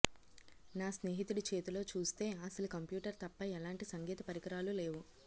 నా స్నేహితుడి చేతిలో చూస్తే అసలు కంప్యూటర్ తప్ప ఎలాంటి సంగీత పరికరాలు లేవు